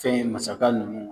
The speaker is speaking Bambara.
Fɛn ye masakɛ nunnu